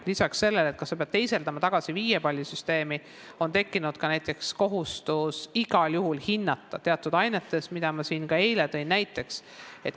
Lisaks sellele, kas peab teisendama tagasi viiepallisüsteemi, on tekkinud näiteks kohustus igal juhul lapsi teatud ainetes hinnata, mida ma ka eile näiteks tõin.